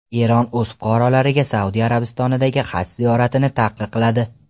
Eron o‘z fuqarolariga Saudiya Arabistonidagi haj ziyoratini taqiqladi.